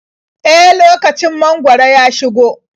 E, lokacin mangwaro ya shigo.